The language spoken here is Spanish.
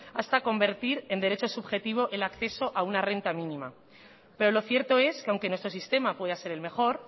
hasta convertir en derecho subjetivo el acceso a una renta mínima pero lo cierto es que aunque nuestro sistema pueda ser el mejor